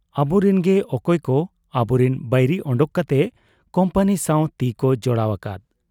ᱟᱵᱚᱨᱤᱱ ᱜᱮ ᱚᱠᱚᱭᱠᱚ ᱟᱵᱚᱨᱤᱱ ᱵᱟᱹᱭᱨᱤ ᱚᱰᱚᱠ ᱠᱟᱛᱮ ᱠᱩᱢᱯᱟᱹᱱᱤ ᱥᱟᱶ ᱛᱤᱠᱚ ᱡᱚᱲᱟᱣ ᱟᱠᱟᱫ !